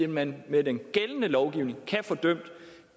man med den gældende lovgivning kan få dømt